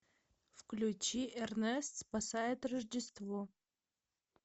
включи эрнест спасает рождество